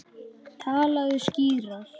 Talaðu skýrar.